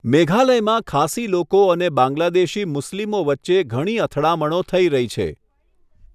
મેઘાલયમાં ખાસી લોકો અને બાંગ્લાદેશી મુસ્લિમો વચ્ચે ઘણી અથડામણો થઈ રહી છે.